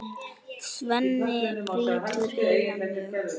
Svenni brýtur heilann mjög.